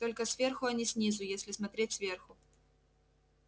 только сверху а не снизу если смотреть сверху